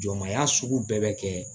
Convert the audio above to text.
Jɔnmaya sugu bɛɛ bɛ kɛ